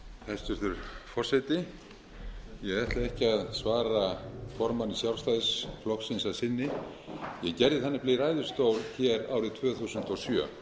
ég ætla ekki að svara formanni sjálfstæðisflokksins að sinni ég gerði það nefnilega í ræðustól hér árið tvö þúsund og sjö